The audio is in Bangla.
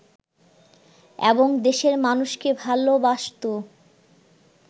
এবং দেশের মানুষকে ভালবাসত